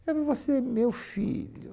Eu falei, você, meu filho...